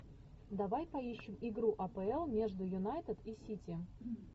давай поищем игру апл между юнайтед и сити